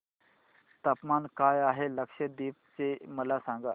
तापमान काय आहे लक्षद्वीप चे मला सांगा